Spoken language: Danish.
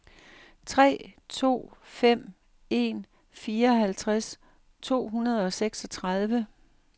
tre to fem en fireoghalvtreds to hundrede og seksogtredive